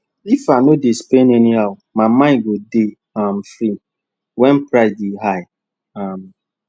if i no dey spend anyhow my mind go dey um free when price dey high um